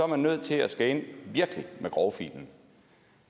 man nødt til at skulle ind virkelig med grovfilen